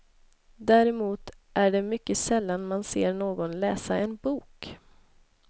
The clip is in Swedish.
Däremot är det mycket sällan man ser någon läsa en bok.